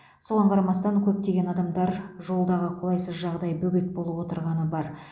соған қарамастан көптеген адамдар жолдағы қолайсыз жағдай бөгет болып отырғаны бар